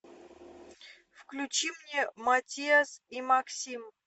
включи мне матиас и максим